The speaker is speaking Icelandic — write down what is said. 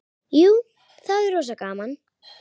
Jú, það er rosa gaman.